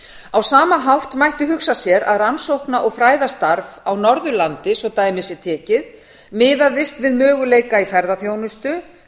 á sama hátt mætti hugsa sér að rannsókna og fræðastarf á norðurlandi svo dæmi sé tekið miðaðist við möguleika í ferðaþjónustu